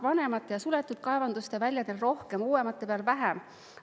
Vanemate ja suletud kaevanduste väljadel rohkem, uuemate peal vähem.